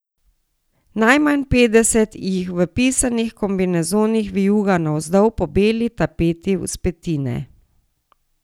Najmanj petdeset jih v pisanih kombinezonih vijuga navzdol po beli tapeti vzpetine.